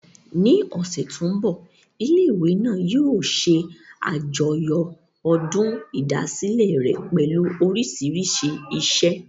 Ní ọ̀sẹ̀ tó mbọ̀, ilé ìwé náà yóò ṣe àjọyọ̀ ọdún ìdásílẹ̀ rẹ̀ pẹ̀lú oríṣiríṣi iṣẹ́